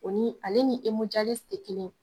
O ni ale ni tɛ kelen ye.